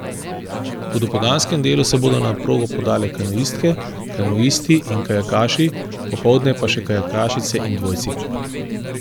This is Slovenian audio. V dopoldanskem delu se bodo na progo podale kanuistke, kanuisti in kajakaši, popoldne pa še kajakašice in dvojci.